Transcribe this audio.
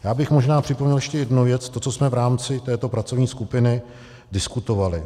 Já bych možná připomněl ještě jednu věc - to, co jsme v rámci této pracovní skupiny diskutovali.